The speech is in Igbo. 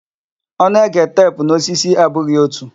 Onu ege tep na osisi abụghị otu.